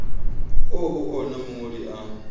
oo ho ona mongodi a